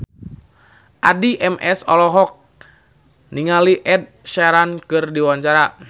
Addie MS olohok ningali Ed Sheeran keur diwawancara